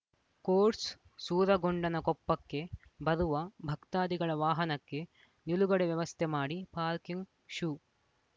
quotes ಸೂರಗೊಂಡನಕೊಪ್ಪಕ್ಕೆ ಬರುವ ಭಕ್ತಾದಿಗಳ ವಾಹನಕ್ಕೆ ನಿಲುಗಡೆ ವ್ಯವಸ್ಥೆ ಮಾಡಿ ಪಾರ್ಕಿಂಗ್‌ ಶು